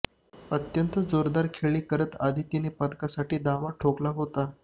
अत्यंत दर्जेदार खेळ करत आदितीनं पदकासाठी दावा ठोकला होता